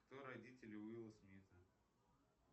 кто родители уилла смита